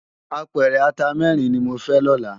Ápèrè àtá mèrin ni mó fè lòlá